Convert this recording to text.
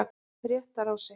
Réttarási